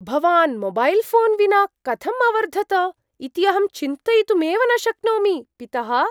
भवान् mobile phone विना कथं अवर्धत इति अहं चिन्तयितुमेव न शक्नोमि, पितः।